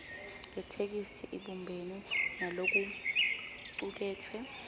yetheksthi ibumbene nalokucuketfwe